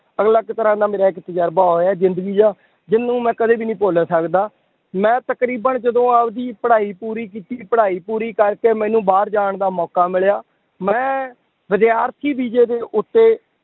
ਅਲੱਗ ਤਰ੍ਹਾਂ ਦਾ ਮੇਰਾ ਇੱਕ ਤਜਰਬਾ ਹੋਇਆ ਜ਼ਿੰਦਗੀ ਦਾ ਜਿਹਨੂੰ ਮੈਂ ਕਦੇ ਵੀ ਨਹੀਂ ਭੁੱਲ ਸਕਦਾ, ਮੈਂ ਤਕਰੀਬਨ ਜਦੋਂ ਆਪਦੀ ਪੜ੍ਹਾਈ ਪੂਰੀ ਕੀਤੀ ਪੜ੍ਹਾਈ ਪੂਰੀ ਕਰਕੇ ਮੈਨੂੰ ਬਾਹਰ ਜਾਣ ਦਾ ਮੌਕਾ ਮਿਲਿਆ ਮੈਂ ਵਿਦਿਆਰਥੀ ਵੀਜ਼ੇ ਦੇ ਉੱਤੇ